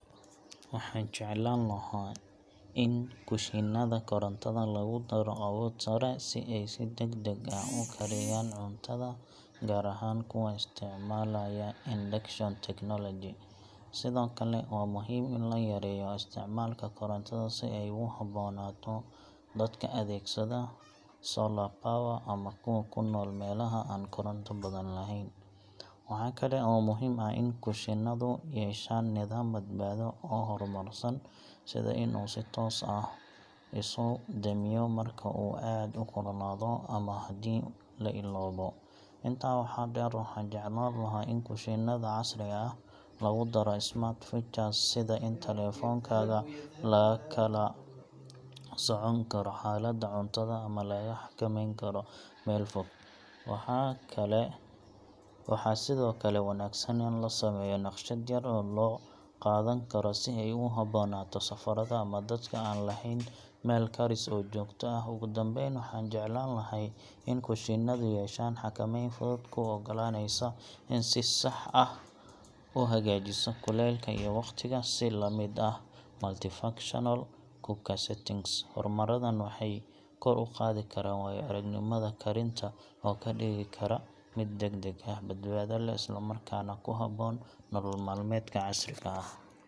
Waxaan jeclaan lahaa in kushiinada korontada lagu daro awood sare si ay si degdeg ah u kariyaan cuntada, gaar ahaan kuwa isticmaalaya induction technology. Sidoo kale, waa muhiim in la yareeyo isticmaalka korontada si ay ugu habboonaato dadka adeegsada solar power ama kuwa ku nool meelaha aan koronto badan lahayn. Waxaa kale oo muhiim ah in kushiinadu yeeshaan nidaam badbaado oo horumarsan, sida in uu si toos ah isu damiyo marka uu aad u kululaado ama haddii la illoobo. Intaa waxaa dheer, waxaan jeclaan lahaa in kushiinada casriga ah lagu daro smart features sida in taleefankaaga lagala socon karo xaaladda cuntada ama lagaga xakameyn karo meel fog. Waxaa sidoo kale wanaagsan in la sameeyo naqshad yar oo la qaadan karo si ay ugu habboonaato safarada ama dadka aan lahayn meel karis oo joogto ah. Ugu dambeyn, waxaan jeclahay in kushiinadu yeeshaan xakameyn fudud oo kuu ogolaanaysa in si sax ah u hagaajiso kulaylka iyo waqtiga, si la mid ah multi-functional cooker settings. Horumaradan waxay kor u qaadi karaan waayo-aragnimada karinta oo ka dhigi kara mid degdeg ah, badbaado leh, isla markaana ku habboon nolol maalmeedka casriga ah.